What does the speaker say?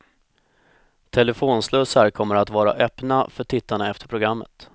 Telefonslussar kommer att vara öppna för tittarna efter programmet.